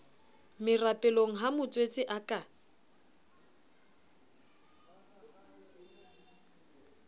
merapelong ha motswetse a ka